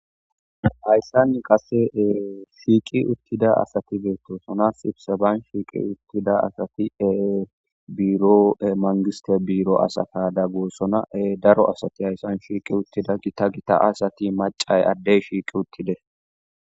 Hayssan qasee shiiqi uttida asati beettosonas ibsebayn shiiqi uttida asati e biiro e mangiste biiro asata da gossona daro asati hayssan shiiqi uttida gita gita asati macay addey shiiqi uttide.